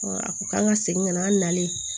a ko k'an ka segin ka na an nalen